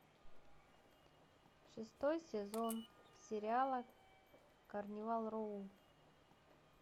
шестой сезон сериала карнивал роу